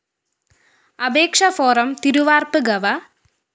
അപേക്ഷ ഫോറം തിരുവാര്‍പ്പ് ഗവ